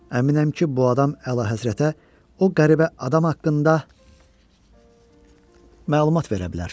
Əminəm ki, bu adam əlahəzrətə, o qəribə adam haqqında məlumat verə bilər."